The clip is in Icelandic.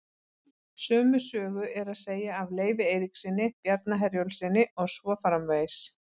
Sömu sögu er að segja af Leifi Eiríkssyni, Bjarna Herjólfssyni og svo framvegis.